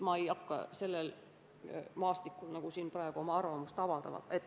Ma ei hakka sellel maastikul siin praegu oma arvamust avaldama.